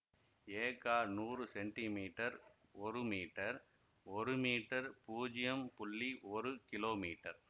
எகா நூறு centimetre ஒரு மீட்டர் ஒரு மீட்டர் பூஜ்யம் புள்ளி ஒரு கிலோமீட்டர்